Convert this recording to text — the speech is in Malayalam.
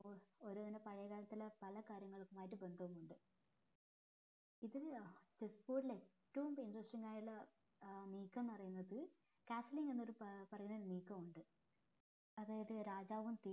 ഓരങ്ങനെ പാഴയെ കാലത്തുള്ള പഴയെ കാര്യങ്ങളും ഇതുമായിട്ട് ബന്ധവുമുണ്ട് ഇതിന് chessboard ൽ ഏറ്റവും interesting ആയുള്ള ഏർ നീക്കം പറയുന്നത് castling എന്നൊരു പറയുന്ന നീക്കം ഉണ്ട് അതായത് രാജാവും